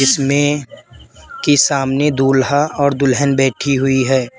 इसमें की सामने दुल्हा और दुल्हन बैठी हुई है।